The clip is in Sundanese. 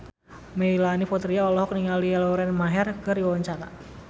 Melanie Putri olohok ningali Lauren Maher keur diwawancara